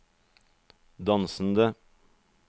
dansende